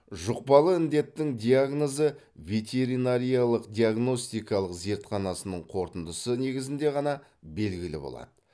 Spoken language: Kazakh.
жұқпалы індетттің диагнозы ветеринариялық диагностикалық зертханасының қорытындысы негізінде ғана белгілі болады